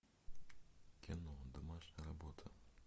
кино домашняя работа